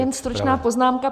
Jen stručná poznámka.